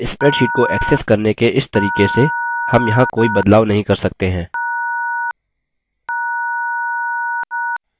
अब spreadsheet को access करने के इस तरीके से हम यहाँ कोई बदलाव नहीं कर सकते हैं